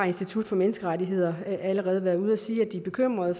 institut for menneskerettigheder har allerede været ude at sige at de er bekymrede